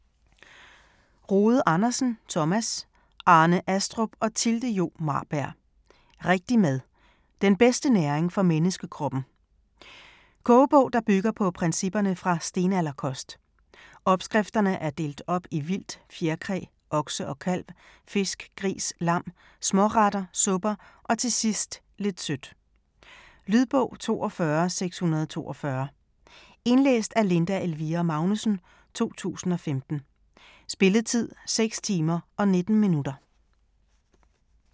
Rode Andersen, Thomas, Arne Astrup og Thilde Jo Maarbjerg: Rigtig mad: den bedste næring for menneskekroppen Kogebog, der bygger på principperne fra stenalderkost. Opskrifterne er delt op i vildt, fjerkræ, okse og kalv, fisk, gris, lam, småretter, supper og til sidst lidt sødt. Lydbog 42642 Indlæst af Linda Elvira Magnussen, 2015. Spilletid: 6 timer, 19 minutter.